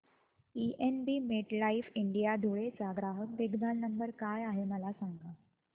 PNB MetLife India Dhule चा ग्राहक देखभाल नंबर काय आहे मला सांगा